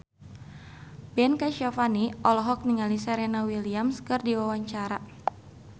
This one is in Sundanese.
Ben Kasyafani olohok ningali Serena Williams keur diwawancara